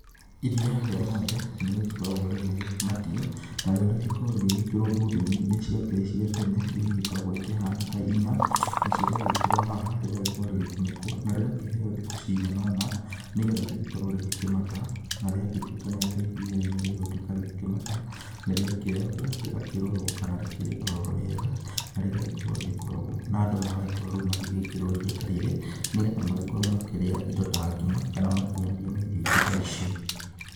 Iria rĩa ng'ombe nĩ rĩgĩkoragwo rĩgĩkĩmatio, na rio rĩgĩkoragwo rĩgĩgĩkĩrwo bũthũ-inĩ iria ciakĩrĩ cia tene iria igĩkoragwo ikĩhana ta inya, nacĩo rĩagĩkĩrwo haha rĩgagĩkorwo rĩgĩgĩkunĩkwo na rĩgakĩheo thikũ cigana ũna, nĩgetha rĩgĩkorwo rĩgĩkĩmata, na rĩagĩtuĩka atĩ iria rĩrĩ nĩ rĩgũgĩtuĩka rĩgĩkĩmata, nĩ rĩakĩoyagwo rĩgakĩrorwo kana rĩkĩrĩ o rĩega, na rĩgagĩkorwo rĩgĩgĩkorogwo na andũ magagĩkorwo rĩu magĩgĩkĩrĩrwo iria ta rĩrĩ nĩgetha magĩkorwo makĩrĩa indo ta ngima kana makĩrĩanĩria na irio ingĩ ta icio.